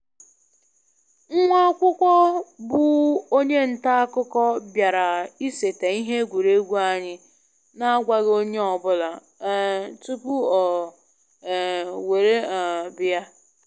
Nwa akwụkwọ bụ onye nta akụkọ bịara iseta ihe egwuregwu anyị na agwaghị onye ọ bụla um tupu ọ um were um bịa